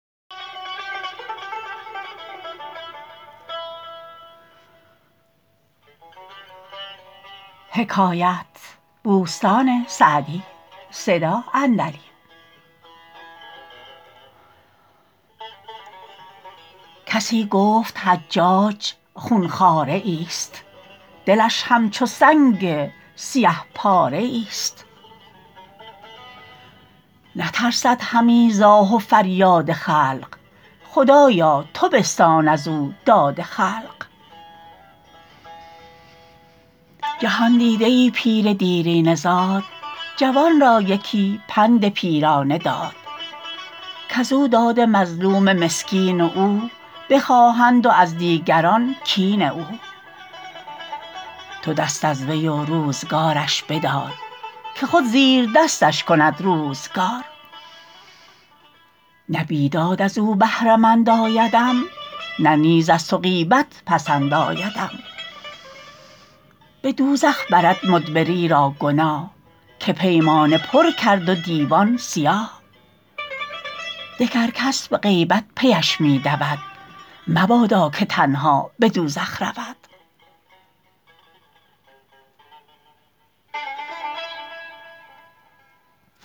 کسی گفت حجاج خون خواره ای است دلش همچو سنگ سیه پاره ای است نترسد همی ز آه و فریاد خلق خدایا تو بستان از او داد خلق جهاندیده ای پیر دیرینه زاد جوان را یکی پند پیرانه داد کز او داد مظلوم مسکین او بخواهند و از دیگران کین او تو دست از وی و روزگارش بدار که خود زیر دستش کند روزگار نه بیداد از او بهره مند آیدم نه نیز از تو غیبت پسند آیدم به دوزخ برد مدبری را گناه که پیمانه پر کرد و دیوان سیاه دگر کس به غیبت پیش می دود مبادا که تنها به دوزخ رود